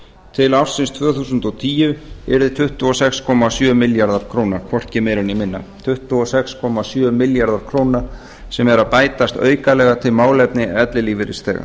til ársins tvö þúsund og tíu yrði tuttugu og sex komma sjö milljarðar króna hvorki meira né minna tuttugu og sex komma sjö milljarðar króna sem eru að bætast aukalega til málefna ellilífeyrisþega